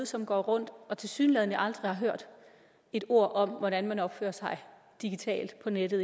som går rundt og tilsyneladende aldrig hørt et ord om hvordan man opfører sig digitalt på nettet